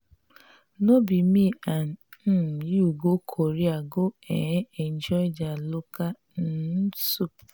no be me and um you go korea go um enjoy their local um food?